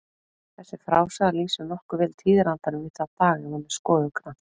Þessi frásaga lýsir nokkuð vel tíðarandanum í þá daga ef hún er skoðuð grannt.